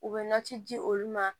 U bɛ nati di olu ma